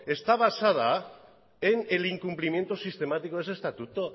está basada en el incumplimiento sistemático de ese estatuto